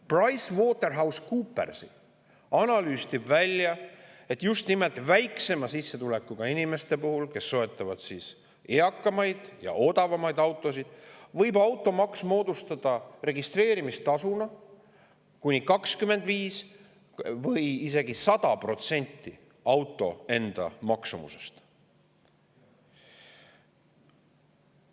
PricewaterhouseCoopersi analüüsist tuli aga välja, et just nimelt väiksema sissetulekuga inimeste puhul, kes soetavad vanemaid ja odavamaid autosid, võib automaksu registreerimistasu moodustada 25% või isegi kuni 100% auto enda maksumusest.